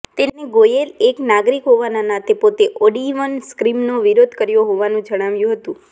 તેને ગોયેલે એક નાગરિક હોવાના નાતે પોતે ઓડઇવન સ્કીમનો વિરોધ કર્યો હોવાનું જણાવ્યું હતું